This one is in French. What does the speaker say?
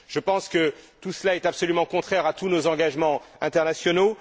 Je pense que tout cela est absolument contraire à tous nos engagements internationaux.